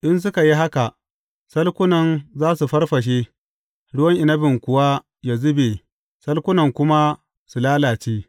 In suka yi haka, salkunan za su farfashe, ruwan inabin kuwa yă zube salkunan kuma su lalace.